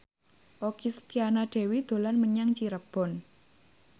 Okky Setiana Dewi dolan menyang Cirebon